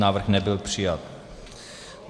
Návrh nebyl přijat.